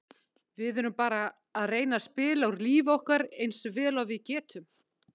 Við erum bara að reyna að spila úr lífi okkar eins vel og við getum.